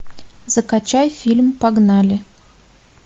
закачай фильм погнали